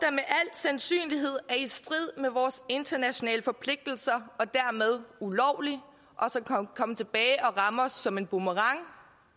sandsynlighed er i strid med vores internationale forpligtelser og dermed ulovlig og så kommer tilbage og rammer os som en boomerang